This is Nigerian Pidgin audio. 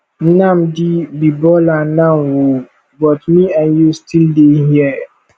nnamdi be baller now ooo but me and you still dey here